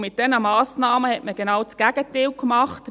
Mit diesen Massnahmen hat man genau das Gegenteil gemacht.